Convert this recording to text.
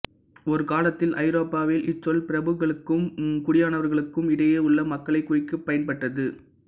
ஒரு காலத்தில் ஐரோப்பாவில் இச்சொல் பிரபுக்களுக்கும் குடியானவர்களுக்கும் இடையில் உள்ள மக்களைக் குறிக்கப் பயன்பட்டது